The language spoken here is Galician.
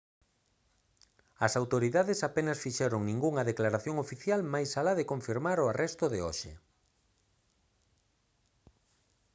as autoridades apenas fixeron ningunha declaración oficial máis alá de confirmar o arresto de hoxe